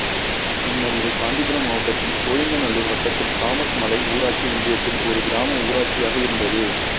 முன்னர் இது காஞ்சிபுரம் மாவட்டத்தின் சோழிங்கநல்லூர் வட்டத்தில் தாமஸ் மலை ஊராட்சி ஒன்றியத்தில் ஒரு கிராம ஊராட்சியாக இருந்தது